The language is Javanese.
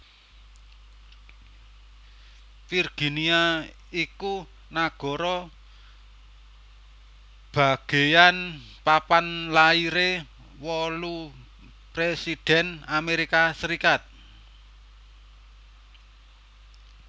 Virginia iku nagara bagéyan papan lairé wolu présidhèn Amérika Sarékat